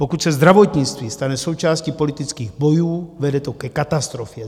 Pokud se zdravotnictví stane součástí politických bojů, vede to ke katastrofě.